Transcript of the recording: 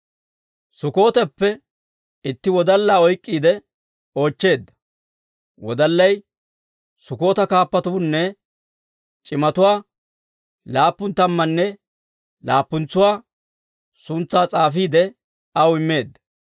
Sukkooteppe itti wodallaa oyk'k'iide oochcheedda. Wodallay Sukkoota kaappatuunne c'imatuwaa laappun tammanne laappunatuwaa suntsaa s'aafiide aw immeedda.